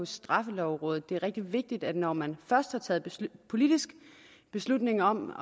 straffelovrådet det er rigtig vigtigt at når man først har taget politisk beslutning om